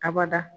Abada